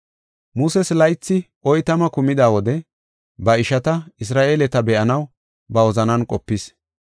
“Muses laythi oytama kumida wode ba ishata, Isra7eeleta be7anaw ba wozanan qopis.